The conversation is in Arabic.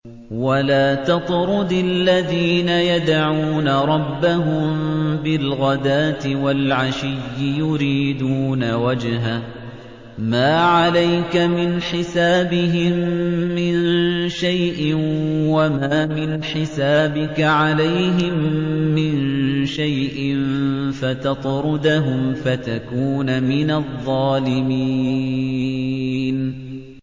وَلَا تَطْرُدِ الَّذِينَ يَدْعُونَ رَبَّهُم بِالْغَدَاةِ وَالْعَشِيِّ يُرِيدُونَ وَجْهَهُ ۖ مَا عَلَيْكَ مِنْ حِسَابِهِم مِّن شَيْءٍ وَمَا مِنْ حِسَابِكَ عَلَيْهِم مِّن شَيْءٍ فَتَطْرُدَهُمْ فَتَكُونَ مِنَ الظَّالِمِينَ